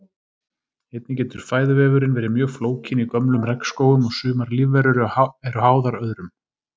Einnig getur fæðuvefurinn verið mjög flókinn í gömlum regnskógum og sumar lífverur eru háðar öðrum.